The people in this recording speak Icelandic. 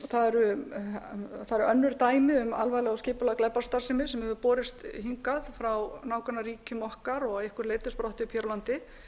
það eru önnur dæmi um alvarlega og skipulagða glæpastarfsemi sem hefur borist hingað frá nágrannaríkjum okkar og að einhverju leyti sprottið upp hér á